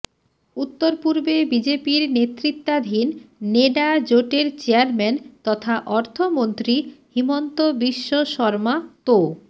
উত্তর পূর্বে বিজেপির নেতৃত্বাধীন নেডা জোটের চেয়ারম্যান তথা অর্থমন্ত্রী হিমন্তবিশ্ব শর্মা তো